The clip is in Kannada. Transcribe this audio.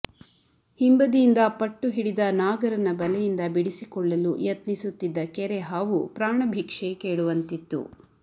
ಹಿಂಬದಿಯಿಂದ ಪಟ್ಟು ಹಿಡಿದ ನಾಗರನ ಬಲೆಯಿಂದ ಬಿಡಿಸಿಕೊಳ್ಳಲು ಯತ್ನಿಸುತ್ತಿದ್ದ ಕೆರೆ ಹಾವು ಪ್ರಾಣ ಭಿಕ್ಷೆ ಕೇಳುವಂತಿತ್ತು